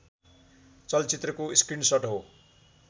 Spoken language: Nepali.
चलचित्रको स्क्रिनसट हो